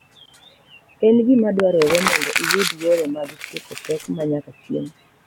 En gima dwarore mondo iyud yore mag tieko pek ma nyaka chieng’.